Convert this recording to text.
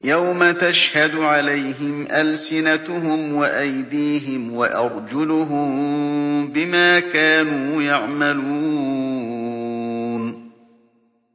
يَوْمَ تَشْهَدُ عَلَيْهِمْ أَلْسِنَتُهُمْ وَأَيْدِيهِمْ وَأَرْجُلُهُم بِمَا كَانُوا يَعْمَلُونَ